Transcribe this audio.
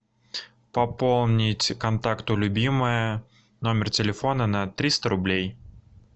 пополнить контакту любимая номер телефона на триста рублей